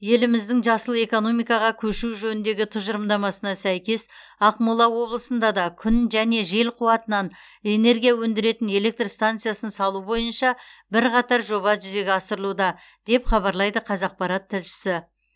еліміздің жасыл экономикаға көшу жөніндегі тұжырымдамасына сәйкес ақмола облысында да күн және жел қуатынан энергия өндіретін электр стансасын салу бойынша бірқатар жоба жүзеге асырылуда деп хабарлайды қазақпарат тілшісі